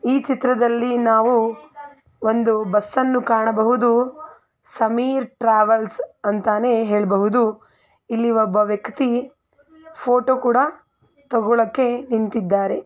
ಈ ಚಿತ್ರದಲ್ಲಿ ನಾವು ಒಂದು ಬಸ್ ಅನ್ನು ಕಾಣಬಹುದು. ಸಮೀರ್ ಟ್ರಾವೆಲ್ಸ್ ಅಂತಾನೆ ಹೇಳ್ಬಹುದು.ಇಲ್ಲಿ ಒಬ್ಬ ವ್ಯಕ್ತಿ ಫೋಟೋ ಕೂಡ ತಗೋಳೋಕೆ ನಿಂತಿದ್ದಾರೆ.